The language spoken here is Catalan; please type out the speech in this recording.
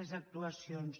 les actuacions